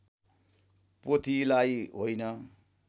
पोथीलाई होइन